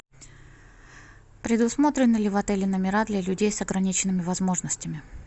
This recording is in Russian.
предусмотрены ли в отеле номера для людей с ограниченными возможностями